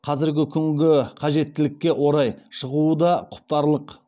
қазіргі күнгі қажеттілікке орай шығуы да құптарлық